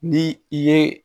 Ni i ye